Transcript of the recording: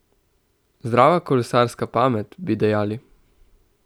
Zdrava kolesarska pamet, bi dejali.